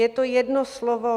Je to jedno slovo.